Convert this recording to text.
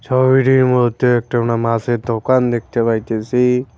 ছবিটির মধ্যে একটা আমরা মাছের দোকান দেখতে পাইতাছি।